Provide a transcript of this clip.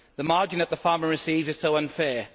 The margin that the farmer receives is so unfair.